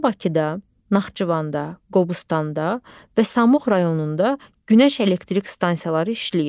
Hazırda Bakıda, Naxçıvanda, Qobustanda və Samux rayonunda günəş elektrik stansiyaları işləyir.